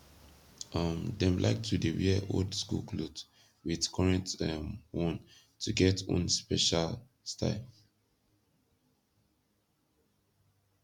um dem laik to dey wear old skool kloth wit korent um one to get own speshal style